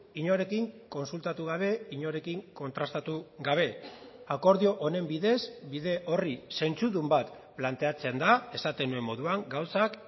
inorekin kontsultatu gabe inorekin kontrastatu gabe akordio honen bidez bide horri zentzudun bat planteatzen da esaten nuen moduan gauzak